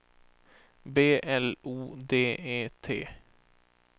B L O D E T